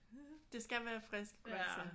Det skal være friske grøntsager